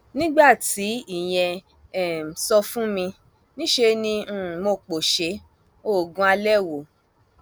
nígbà tí ìyẹn um sọ fún mi níṣẹ ni um mo pọsẹ oògùn alẹ wo